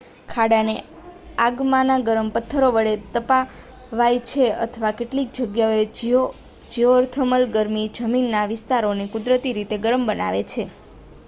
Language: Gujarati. ખાડાને આગમાંના ગરમ પથ્થરો વડે તપાવાય છે અથવા કેટલીક જગ્યાઓએ જીઓથર્મલ ગરમી જમીનના વિસ્તારોને કુદરતી રીતે ગરમ બનાવે છે